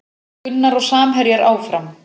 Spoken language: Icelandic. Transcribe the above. Gunnar og samherjar áfram